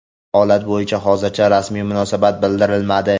Holat bo‘yicha hozircha rasmiy munosabat bildirilmadi.